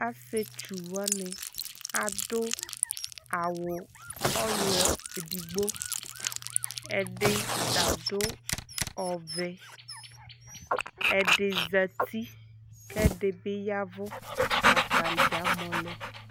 asietsu wani ado awu ulɔ edigbo ɛdi ta ado ɔvɛ ɛdi zati k'ɛdi bi yavu atadza amɔ lɛ